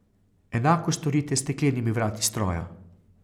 Enako storite s steklenimi vrati stroja.